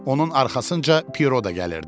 Onun arxasınca Piero da gəlirdi.